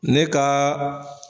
Ne ka